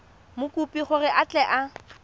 mokopi gore a tle a